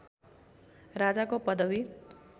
राजाको पदवी